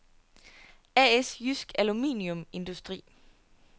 A/S Jydsk Aluminium Industri